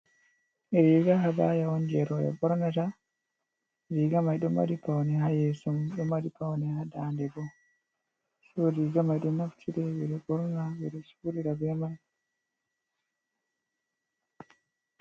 Riiga habaya on, jey rowɓe ɓornata, riiga may ɗo mari pawne, haa yeeso mum, ɗo mari pawne haa daande bo. So riiga may ɗon naftire, ɓe ɗo ɓorna, ɓe ɗo juulida be man.